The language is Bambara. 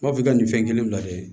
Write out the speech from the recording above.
N b'a f'i ka nin fɛn kelen lajɛ